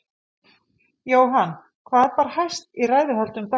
Jóhann, hvað bar hæst í ræðuhöldum dagsins?